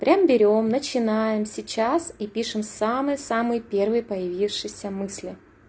прям берём начинаем сейчас и пишем самый-самый первый появившиеся мысли